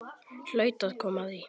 Hlaut að koma að því.